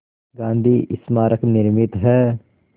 गांधी स्मारक निर्मित है